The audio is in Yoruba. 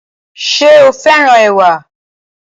Ṣé o féràn ẹwà